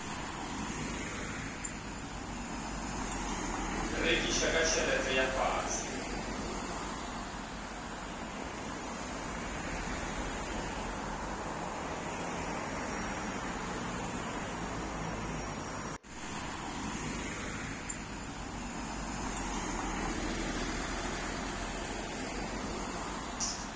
rekiša ka tšhelete ya fase